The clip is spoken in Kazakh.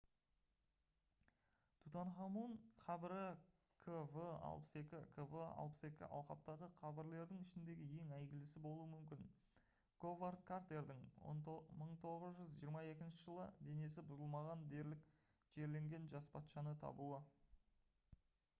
тутанхамун қабірі kv62. kv62 алқаптағы қабірлердің ішіндегі ең әйгілісі болуы мүмкін. говард картердің 1922 жылы денесі бұзылмаған дерлік жерленген жас патшаны табуы